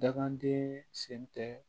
Dakanden sen tɛ